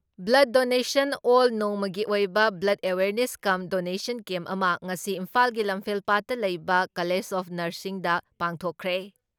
Blood donation ꯑꯦꯜ ꯅꯣꯡꯃꯒꯤ ꯑꯣꯏꯕ blood awareness cum donation camp ꯑꯃ ꯉꯁꯤ ꯏꯝꯐꯥꯜꯒꯤ ꯂꯝꯐꯦꯜꯄꯥꯠꯇ ꯂꯩꯕ ꯀꯂꯦꯖ ꯑꯣꯐ ꯅꯔꯁꯤꯡꯗ ꯄꯥꯡꯊꯣꯛꯈ꯭ꯔꯦ ꯫